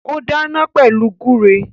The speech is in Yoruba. Ó dáná pẹ̀lú gúre